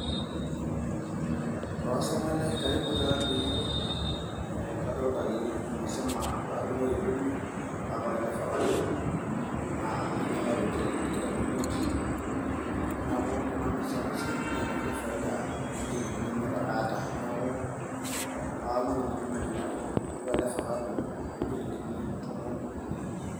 Orkasitumai lai karibu taadii adolita ajo umesema paadung'oki kumi kake ore ele vacado ainyiang'ua too chilingini tikitam omiet neeku tenemir salasini naa inakiti faida oonchilingini imiet ake aata neeku aawomon olainyiang'ani lai iwaa ele fakado toonchilingini tomon uni.